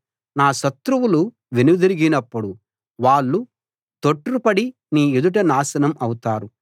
నా శత్రువులు వెనుదిరిగినప్పుడు వాళ్ళు తొట్రుపడి నీ ఎదుట నాశనం అవుతారు